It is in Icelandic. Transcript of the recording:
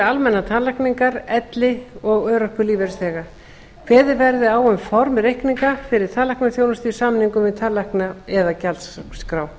almennar tannlækningar elli og örorkulífeyrisþega kveðið verði á um form reikninga fyrir tannlæknaþjónustu í samningum við tannlækna eða gjaldskrá